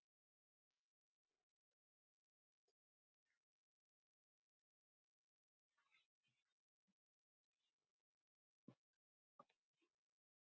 Sonur minn opnar stundum augu mín með óvæntum uppákomum.